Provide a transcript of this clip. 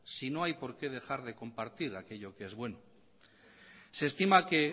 si no hay porqué dejar de compartir aquello que es bueno se estima que